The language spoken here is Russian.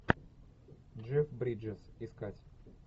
джефф бриджес искать